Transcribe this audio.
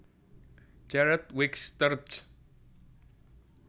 Jared Wicks terj